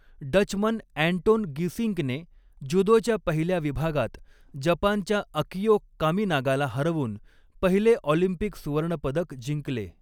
Dutchman Anton गीसिंकने ज्युदोच्या पहिल्या विभागात जपानच्या अकियो कामिनागाला हरवून पहिले ऑलिम्पिक सुवर्णपदक जिंकले.